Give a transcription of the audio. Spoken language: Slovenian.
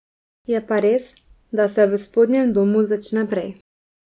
Je pa res, da se v spodnjem domu začne prej.